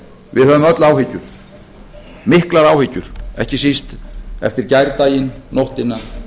við höfum öll áhyggjur miklar áhyggjur ekki síst eftir gærdaginn nóttina